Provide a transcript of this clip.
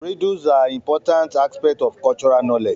Riddles are importnat aspects of cultural knowledge